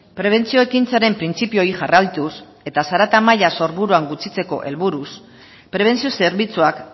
prebentzio ekintzaren printzipio hori jarraituz eta zarata maila sorburuan gutxitzeko helburuz prebentzio zerbitzuak